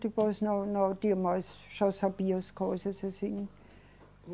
Depois não, não tinha mais... Já sabia as coisas assim.